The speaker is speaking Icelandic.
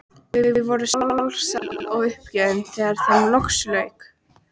Þau voru sár, sæl og uppgefin þegar þeim loksins lauk.